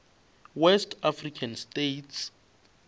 west african states